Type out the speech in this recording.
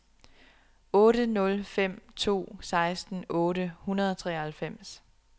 otte nul fem to seksten otte hundrede og treoghalvfems